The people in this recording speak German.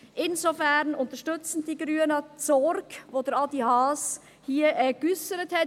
Insofern unterstützen die Grünen die Sorge, die Adrian Haas hier geäussert hat.